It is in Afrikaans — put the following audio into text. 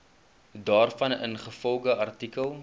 daarvan ingevolge artikel